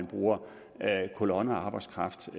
bruger kolonnearbejdskraft til